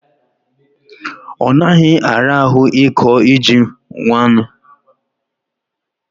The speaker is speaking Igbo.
onaghi arahu iko ji nwannu